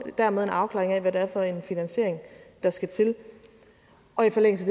dermed en afklaring af hvad det er for en finansiering der skal til og i forlængelse